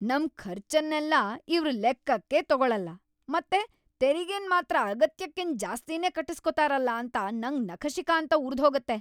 ನಮ್ ಖರ್ಚನ್ನೆಲ್ಲ ಇವ್ರ್ ಲೆಕ್ಕಕ್ಕೇ ತಗೊಳಲ್ಲ ಮತ್ತೆ ತೆರಿಗೆನ್‌ ಮಾತ್ರ ಅಗತ್ಯಕ್ಕಿಂತ ಜಾಸ್ತಿನೇ ಕಟ್ಟುಸ್ಕೊತಾರಲ ಅಂತ ನಂಗ್‌ ನಖಶಿಖಾಂತ ಉರ್ದ್‌ಹೋಗತ್ತೆ.